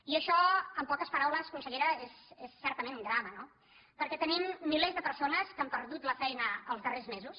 i això en poques paraules consellera és certament un drama no perquè tenim milers de persones que han perdut la feina els darrers mesos